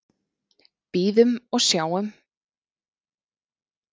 Bíðum og sjáum.